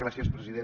gràcies president